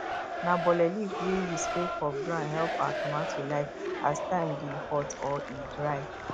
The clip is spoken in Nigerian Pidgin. na bole leaf wey we spread for ground help our tomato life as time dey hot or e dry